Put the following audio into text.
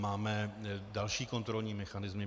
Máme další kontrolní mechanismy.